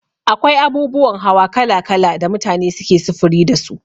Akwai abubuwan hawa kala kala da mutane suke sufuri dasu.